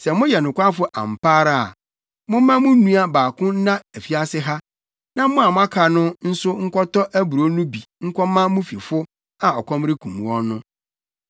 Sɛ moyɛ nokwafo ampa ara a, momma mo nua baako nna afiase ha na mo a moaka no nso nkɔtɔ aburow no bi nkɔma mo fifo a ɔkɔm rekum wɔn no.